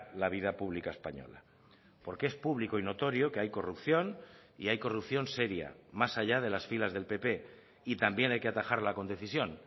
la vida pública española porque es público y notorio que hay corrupción y hay corrupción seria más allá de las filas del pp y también hay que atajarla con decisión